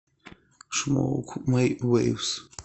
шмоук мэй вэйвс